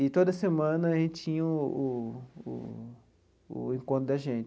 E, toda semana, a gente tinha o o o encontro da gente.